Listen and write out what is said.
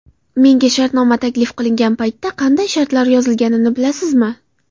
Menga shartnoma taklif qilingan paytda qanday shartlar yozilganini bilasizmi?